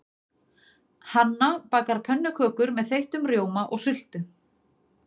Hanna bakar pönnukökur með þeyttum rjóma og sultu.